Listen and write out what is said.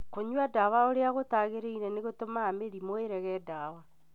Kũnyua kwa ndawa ũrĩa gũtaagĩrĩire nĩgũtũmaga mĩrimũ ĩrege ndawa.